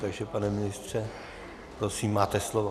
Takže pane ministře, prosím, máte slovo.